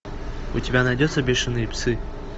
у тебя найдется бешеные псы